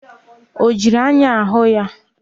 Ọ jiri anya hụ ya?